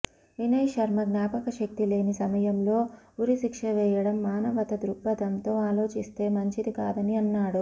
వినయ్ శర్మ జ్ఞాపకశక్తి లేని సమయంలో ఉరి శిక్ష వేయడం మానవత దృక్పదంతో ఆలోచిస్తే మంచిది కాదని అన్నాడు